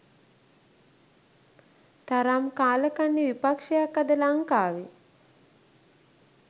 තරම් කාලකන්නි විපක්ෂයක් අද ලංකාවේ.